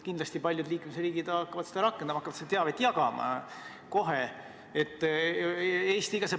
Kindlasti paljud liikmesriigid hakkavad seda rakendama, paljud hakkavad seda teavet kohe jagama.